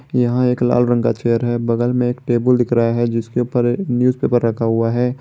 यहां एक लाल रंग का चेयर है बगल में एक टेबुल दिख रहा है जिसके ऊपर न्यूजपेपर रखा हुआ है।